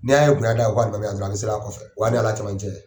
N'i y'a ye bonɲɛ bɛ aw ka alimami na dɔrɔn a' bɛ seli a kɔfɛ o y'a n'Ala cɛmancɛ ye.